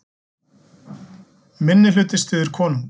Minnihluti styður konung